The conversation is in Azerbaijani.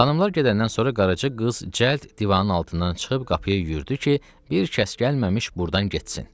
Xanımlar gedəndən sonra Qaraca qız cəld divanın altından çıxıb qapıya yüyürdü ki, bir kəs gəlməmiş burdan getsin.